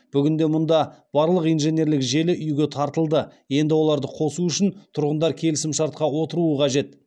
бүгінде мұнда барлық инженерлік желі үи ге тартылды енді оларды қосу үшін тұрғындар келісімшартқа отыруы қажет